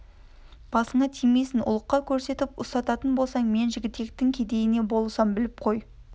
басына тимейсің ұлыққа көрсетіп ұстататын болсаң мен жігітектің кедейіне болысам біліп қой